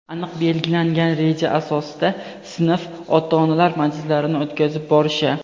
aniq belgilangan reja asosida sinf ota-onalar majlislarini o‘tkazib borishi;.